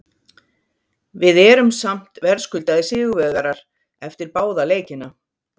Við erum samt verðskuldaðir sigurvegarar eftir báða leikina.